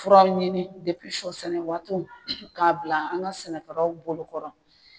Furaw ɲini sɔ sɛnɛ waatiw k'a bila an ka sɛnɛkɛlaw bolo kɔrɔ